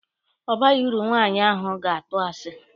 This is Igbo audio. O baghị uru, nwaanyị ahụ ga-atụ asi.